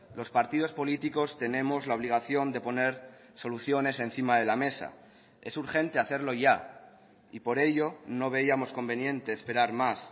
los partidos políticos tenemos la obligación de poner soluciones encima de la mesa es urgente hacerlo ya y por ello no veíamos conveniente esperar más